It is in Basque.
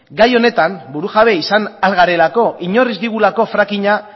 gai honetan burujabe izan ahal garelako inork ez digulako fracking a